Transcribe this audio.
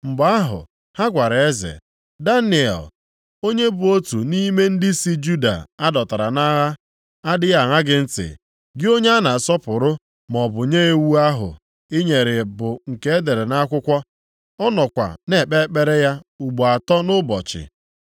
Mgbe ahụ, ha gwara eze, “Daniel, onye bụ otu nʼime ndị si Juda a dọtara nʼagha adịghị aṅa gị ntị, gị onye a na-asọpụrụ, maọbụ nye iwu ahụ i nyere bụ nke e dere nʼakwụkwọ. Ọ nọkwa na-ekpe ekpere ya ugbo atọ nʼụbọchị.”